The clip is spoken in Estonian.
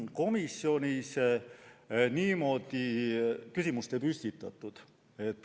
Komisjonis niimoodi küsimust ei püstitatud.